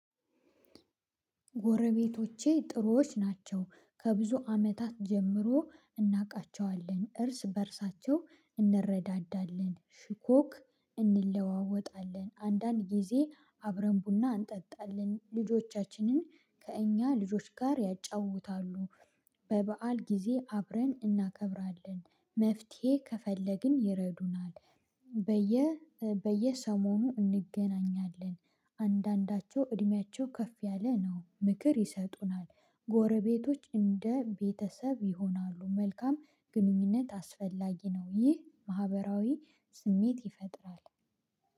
ጎረቤቶቼ ጥሩዎች ናቸው። ከብዙ አመታት ጀምሮ እናውቃቸዋለን እርስ በእርሳቸው እንረዳዳለን ሽኮክ እንለዋወጣለን አንዳንድ ጊዜ አብረን ቡና እንጠጣለን ልጆቻችንን ከእኛ ልጆች ጋር ያጫውታሉ። በበዓል ጊዜ አብረን እናከብራለን መፍትሄ ከፈለግን ይረዱናል። በየ በየሰሞኑ እንገናኛለን። አንዳንዳቸው እድሜያቸው ከፍ ያለ ነው ምክር ይሰጡናል። ጎረቤቶች እንደ ቤተሰብ ይሆናሉ። መልካም ግንኙነት አስፈላጊ ነው። ይህ ማህበራዊ ስሜት ይፈጥራል